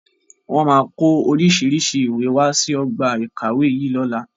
Wọn máa ko oríṣiríṣi ìwé wá sí ọgbà ìkàwé yìí lọ́la